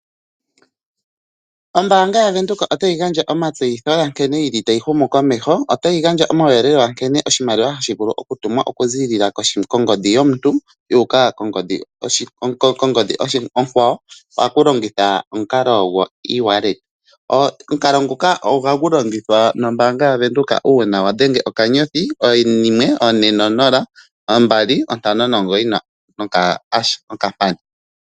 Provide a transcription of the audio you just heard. Ombaanga yaVenduka otayi gandja omatseyitho nkene yili tayi humu komeho. Otayi gandja omauyelele ga nkene oshimaliwa hashi vulu okutumwa okuziilila kongodhi yomuntu yu uka kongodhi onkwawo pakulongitha omukalo gwoe-wallet. Omukalo nguka ohahu longithwa nombaanga yaVenduka uuna wadhenge *140*295#.